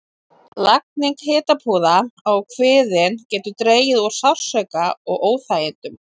Lagning hitapúða á kviðinn getur dregið úr sársauka og óþægindum.